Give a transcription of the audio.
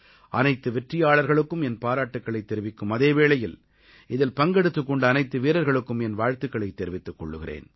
அனைத்து வெற்றியாளர்களுக்கும் என் பாராட்டுக்களைத் தெரிவிக்கும் அதே வேளையில் இதில் பங்கெடுத்துக் கொண்ட அனைத்து வீரர்களுக்கும் என் வாழ்த்துக்களைத் தெரிவித்துக் கொள்கிறேன்